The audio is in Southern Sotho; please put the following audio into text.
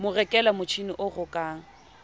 mo rekela motjhini o rokang